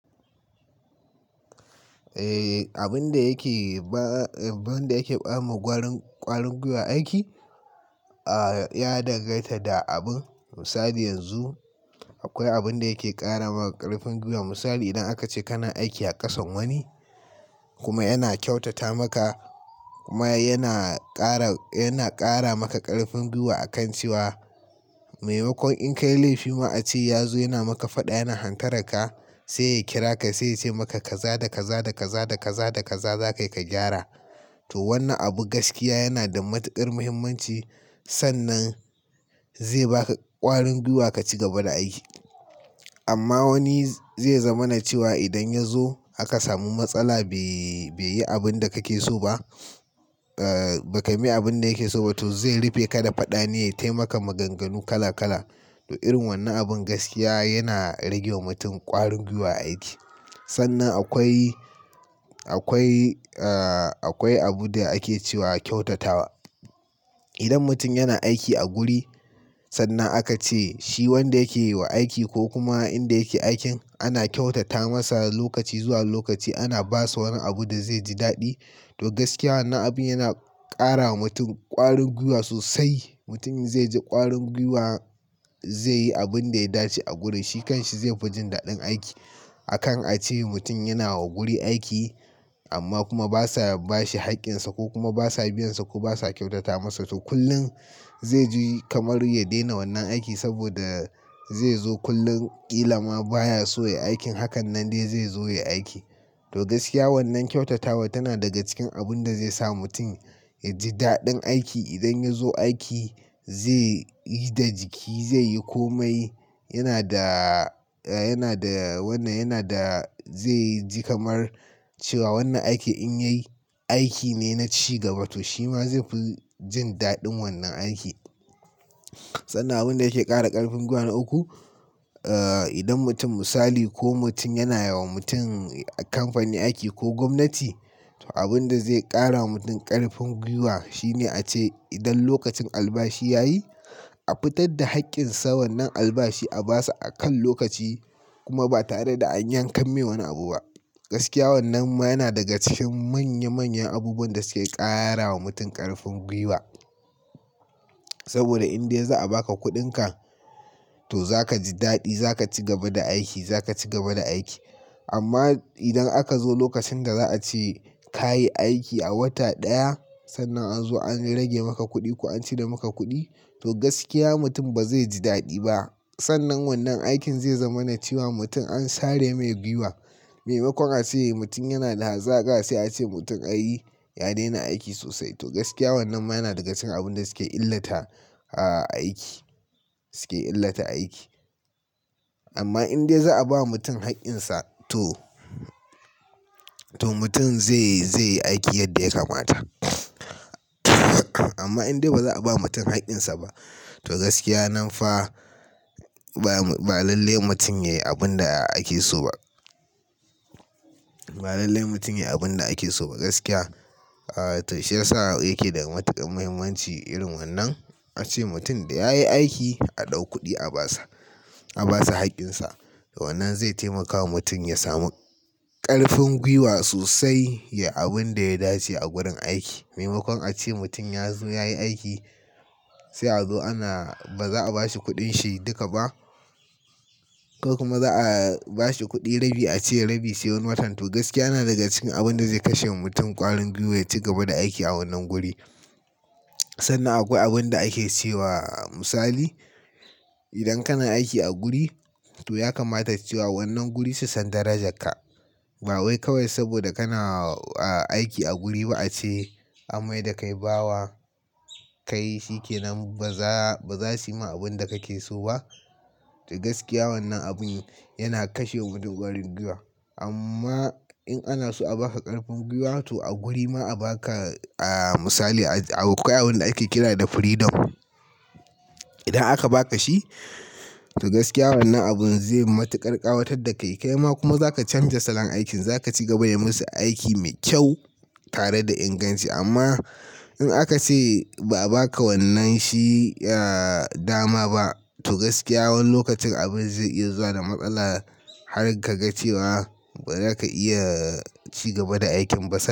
Eh, abin da yake ba, abin da yake bamu ƙwarin, ƙwarin gwiwar aiki, ah, ya danganta da abun. Misali yanzu akwai abin da yake ƙara ma ƙarfin gwiwa. Misali idan aka ce kana aiki a ƙasan wani kuma yana kyautata maka kuma yana ƙara, yana ƙara maka ƙarfin gwiwa akan cewa maimakon in ka yi laifi ma a ce ya zo yana maka faɗa, yana hantararka sai ya kira ka sai ya ce maka ka za da, ka za da, ka za da, ka za da, ka za da kai ka gyara. To wannan abu gaskiya yana da matuƙar muhimmanci sannan zai ba ka ƙwarin gwiwa ka ci gaba da aiki. Amma wani zai zama na cewa idan ya zo aka samu matsala bai, bai yi abin da kake so ba, ah, ba ka msi abin da yake so ba. To zai rufe kada faɗa ne ya yi ta maka maganganu kala kala. To irin wannan abin gaskiya yana rage wa mutum ƙwarin gwiwa aiki. Sannan akwai, akwai, ah, akwai abun da ake cewa kyautatawa. Idan mutum yana aiki a guri sannan aka ce shi wanda yake yi wa aiki ko kuma inda yake aikin ana kyautata masa lokaci zuwa lokaci ana ba sa wani abu da zai ji daɗi. To gaskiya wannan abin yana ƙara wa mutum ƙwarin gwiwa sosai. Mutum zai ji ƙwarin gwiwa zai yi abin da ya dace a gurin shi kan shi zai fi jin daɗin aiki. A kan a ce mutum yana wa guri aiki amma kuma ba sa ba shi haƙƙinsa ko kuma ba sa biyan sa ko ba sa kyautata masa. To kullum zai ji kamar ya daina wannan aiki saboda zai zo kullum ƙila ma baya so ya yi aikin hakan nan dai zai zo ya yi aiki. To gaskiya wannan kyautatawa tana daga cikin abun da zai sa mutum ya ji daɗin aiki. Idan ya zo aiki zai yi da jiki, zai yi komai. Yana da, yana da wannan, yana da zai ji kamar cewa wannan aiki in ya yi aiki ne na ci gaba. To shi ma zai fi jin daɗin wannan aiki. Sannan abun da yake ƙara ƙarfin gwiwa na uku, ah, idan mutum misali ko mutum yana wa mutum a kamfani aiki ko gwamnati to abin da zai ƙara wa mutum ƙarfin gwiwa shi ne a ce idan lokacin albashi ya yi a fitar da haƙƙin sa wannan albashi a ba sa a kan lokaci kuma ba tare da an yankan mi wani abu ba. Gaskiya wannan ma yana daga cikin manya manyan abubuwan da suke ƙarawa mutum ƙarfin gwiwa. Saboda in dai za a ba ka kuɗinka to za ka ji daɗi, za ka ci gaba da aiki, za ka ci gaba da aiki. Amma idan aka zo lokacin da za a ce ka yi aiki a wata ɗaya sannan a zo an rage maka kuɗi ko an cire maka kuɗi to gaskiya mutum ba zai ji daɗi ba. Sannan wannan aikin zai zama na cewa mutum an sare mai gwiwa. Maimakon a ce mutum yana da hazaka sai a ce mutum ai ya daina aiki sosai. To gaskiya wannan ma yana daga cikin abun da suke illata, ah, aiki, suke illata aiki. Amma in dai za a ba mutum haƙƙinsa to, to mutum zai yi, zai yi aiki yadda ya kamata amma in dai ba za a ba mutum haƙƙinsa ba to gaskiya nan fa ba, ba lalle mutum ya yi abin da ake so ba. Ba lalle mutum ya yi abin da ake so ba. Gaskiya, ah, to shi ya sa yake da matuƙar muhimmanci irin wannan. A ce mutum da ya yi aiki a ɗau kuɗi a ba sa, a ba sa haƙƙinsa. Wannan zai taimaka wa mutum ya samu ƙarfin gwiwa sosai ya yi abin da ya dace a gurin aiki. Maimakon a ce mutum ya zo ya yi aiki sai a zo ana ba za a ba shi kuɗin shi duka ba ko kuma za a ba shi kuɗi rabi a ce rabi sai wani watan. To gaskiya yana daga cikin abun da zai kashe wa mutum ƙwarin gwiwa ya ci gaba da aiki a wannan guri. Sannan akwai abun da ake cewa misali idan kana aiki a guri to ya kamata cewa wannan guri su san darajarka. Ba wai kawai saboda kana, ah, aiki a guri ba a ce amai da ka yi bawa kai shi ke nan ba za, ba za su ma abin da kake so ba. To gaskiya wannan abun yana kashe wa mutum ƙwarin gwiwa. Amma in ana so a ba ka ƙarfin gwiwa to a guri ma a ba ka, ah, misali akwai abun da ake kira da freedom. Idan aka ba ka shi to gaskiya wannan abun zai matuƙar ƙawatar da ka. Kai ma kuma za ka canja salon aikin, za ka ci gaba da yi musu aiki mai kyau tare da inganci. Amma in aka ce ba a ba ka wannan shi, ah, dama ba to gaskiya wani lokacin abin zai iya zuwa da matsala har ka ga cewa ba za ka iya ci gaba da aikin ba san.